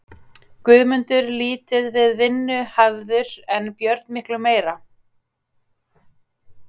Guðmundur lítið við vinnu hafður en Björn miklu meira.